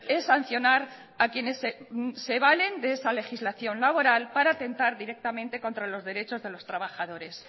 es sancionar a quienes se valen de esa legislación laboral para tentar directamente contra los derechos de los trabajadores